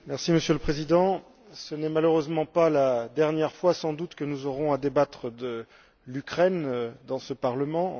Monsieur le Président, ce n'est malheureusement pas la dernière fois, sans doute, que nous aurons à débattre de l'Ukraine dans ce parlement.